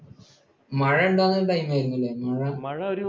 മഴ ഉണ്ടാകുന്ന time ആയിരുന്നു അല്ലെ?